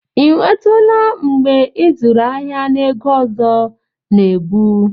Ị nwetụla mgbe ịzụrụ ahịa na ego ọzọ na ebu?